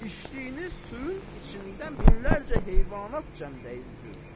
İçdiyiniz suyun içində minlərcə heyvanat cəmdəyi üzür.